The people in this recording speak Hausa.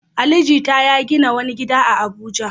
Ali Jita ya gina wani gida a Abuja.